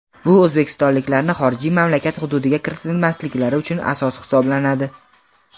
bu o‘zbekistonliklarni xorijiy mamlakat hududiga kiritilmasliklari uchun asos hisoblanadi.